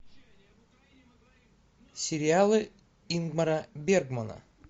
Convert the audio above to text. сериалы ингмара бергмана